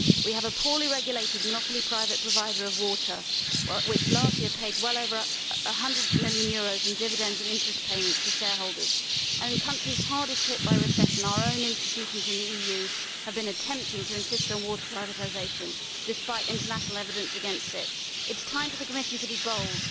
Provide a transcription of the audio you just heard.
We have a poorly regulated monopoly private provider of water which last year paid well over EUR 100 million in dividends and interest payments to shareholders, and in the countries hardest hit by recession our own institutions in the EU have been attempting to insist on water privatisation despite international evidence against it. It is time for the Commission to be bold.